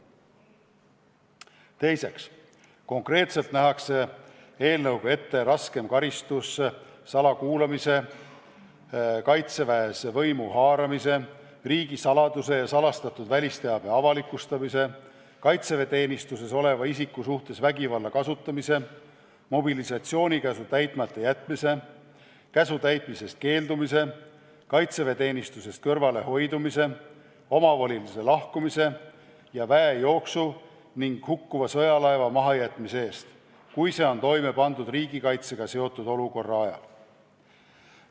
Teiseks, eelnõuga nähakse ette raskem karistus salakuulamise, Kaitseväes võimu haaramise, riigisaladuse ja salastatud välisteabe avalikustamise, kaitseväeteenistuses oleva isiku suhtes vägivalla kasutamise, mobilisatsioonikäsu täitmata jätmise, käsu täitmisest keeldumise, kaitseväeteenistusest kõrvalehoidmise, omavolilise lahkumise ja väejooksu ning hukkuva sõjalaeva mahajätmise eest, kui see on toime pandud riigikaitsega seotud olukorra ajal.